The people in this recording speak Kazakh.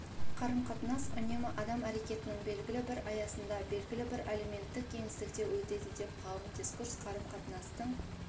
қарым-қатынас үнемі адам әрекетінің белгілі бір аясында белгілі бір әлеуметтік кеңістікте өтеді деп ғалым дискурс қарым-қатынастың